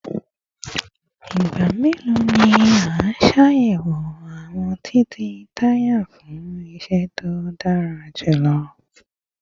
Igba melo ni a ṣayẹwo awọn titẹ taya fun iṣẹ to dara julọ?